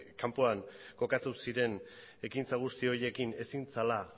kanpoan kokatu ziren ekintza guzti horiekin ezin zela